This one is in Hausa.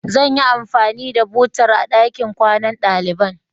Zan yi anfani da butar a ɗakin kwanan ɗaliban.